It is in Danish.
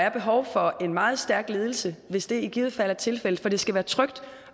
er behov for en meget stærk ledelse hvis det er tilfældet for det skal være trygt